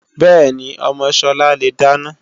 Bẹ́ẹ̀ni, ọmọ Sọlá le dáná